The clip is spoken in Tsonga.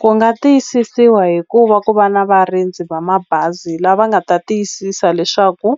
Ku nga tiyisisiwa hi ku va ku va na varindzi va mabazi lava nga ta tiyisisa leswaku